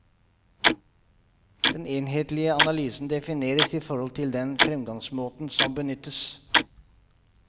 Den enhetlige analysen defineres i forhold til den fremgangsmåten som benyttes.